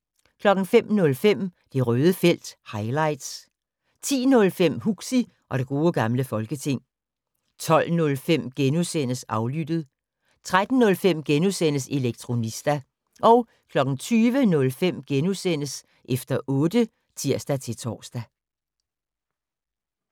05:05: Det Røde felt - highlights 10:05: Huxi og det gode gamle folketing 12:05: Aflyttet * 13:05: Elektronista * 20:05: Efter otte *(tir-tor)